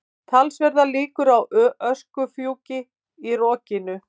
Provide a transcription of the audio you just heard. Talsverðar líkur á öskufjúki í rokinu